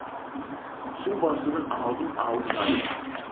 су басудың алдын алып жатырмыз